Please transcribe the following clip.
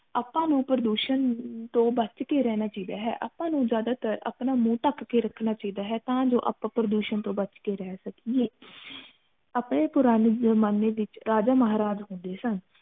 ਆਪਾ ਨੂੰ ਪ੍ਰਦੂਸ਼ਣ ਤੋਂ ਬਚ ਕੇ ਰਹਿਣਾ ਚਾਹੀਦਾ ਹੈ ਆਪਾ ਨੂੰ ਜ਼ਿਆਦਾ ਤਰ ਅਪਨਾ ਮੂੰਹ ਢਕ ਕੇ ਰੱਖਣਾ ਚਾਹੀਦਾ ਹੈ ਤਾ ਜੋ ਆਪਾ ਪ੍ਰਦੂਸ਼ਨ ਤੋਂ ਬਚ ਕੇ ਰਹ ਸਕੀਏ ਅਪਣੇ ਪੁਰਾਣੇ ਜਮਾਨੇ ਵਿਚ ਰਾਜਾ ਮਹਾਰਾਜ ਹੁੰਦੇ ਸਨ